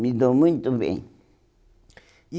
Me dou muito bem. E